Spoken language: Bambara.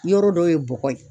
Yɔrɔ dɔwye bɔgɔ ye.